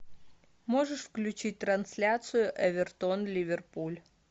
можешь включить трансляцию эвертон ливерпуль